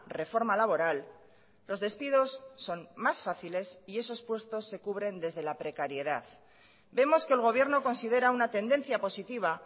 reforma laboral los despidos son más fáciles y esos puestos se cubren desde la precariedad vemos que el gobierno considera una tendencia positiva